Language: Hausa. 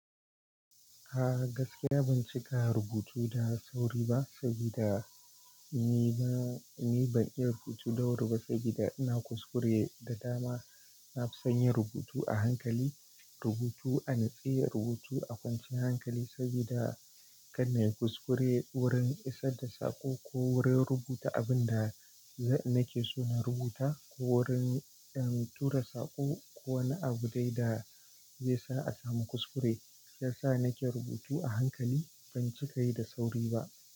A gaskiya ban cika rubutu da sauri ba saboda ni bs, ni ban iya rubutu da wuri ba saboda ina kuskure da dama. Na fi son yin rubutu a hankali, rubutu a nutse, rubutu a kwanciyar hankali saboda kar nayi kuskure wurin isar da saƙo ko wurin rubuta abin da nake so na rubuta ko wurin tura saƙo ko wani abu dai da zai sa a samu kuskure, ya sa nake rubutu a hankali ban cika yi da sauri ba.